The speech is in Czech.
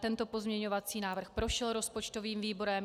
Tento pozměňovací návrh prošel rozpočtovým výborem.